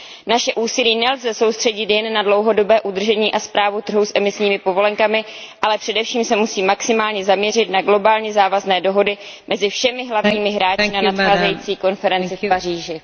Naše úsilí nelze soustředit jen na dlouhodobé udržení a správu trhu s emisními povolenkami, ale především se musí maximálně zaměřit na globálně závazné dohody mezi všemi hlavními hráči na nadcházející konferenci v Paříži.